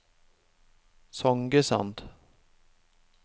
Songesand